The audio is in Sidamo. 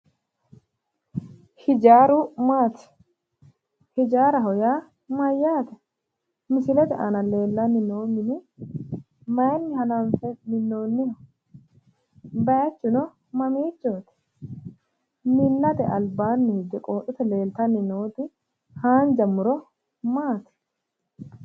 Hijaaru maati? hijaaraho yaa mayyaate? misilete aana leellanni noohuno mayiinni hananfe minnonniho? bayiichuno mamiichooti? minnate albaanni hige qooxote leeltanni nooti haanja muro maati?